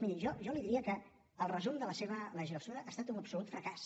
miri jo li diria que el resum de la seva legislatura ha estat un absolut fracàs